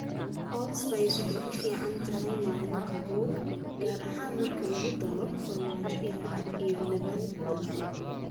Allspice waxay u fiican tahay maalin qabow, gaar ahaan marka lagu daro farmaajo iyo labeen dhanaan.